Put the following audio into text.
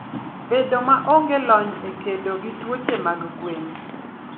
Bedo maonge lony e kedo gi tuoche mag gwen.